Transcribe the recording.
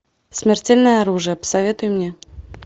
смертельное оружие посоветуй мне